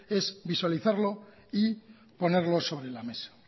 es visualizarlo y ponerlo sobre la mesa